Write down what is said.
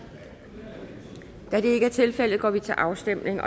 da det ikke er tilfældet går vi til afstemning